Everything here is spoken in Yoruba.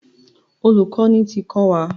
Olùkọ́ni ti kọ́ wa.